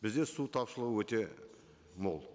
бізде су тапшылығы өте мол